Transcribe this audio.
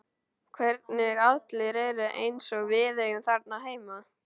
Og hvernig allir eru eins og við eigum þarna heima.